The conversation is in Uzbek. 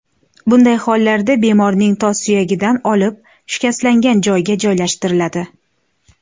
Bunday hollarda bemorning tos suyagidan olib, shikastlangan joyga joylashtiriladi.